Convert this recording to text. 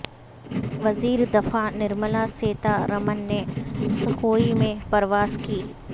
وزیر دفاع نرملا سیتا رمن نے سخوئی میں پرواز کی